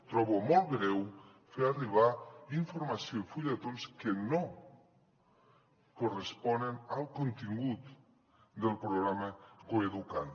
trobo molt greu fer arribar informació i fulletons que no corresponen al contingut del programa coeduca’t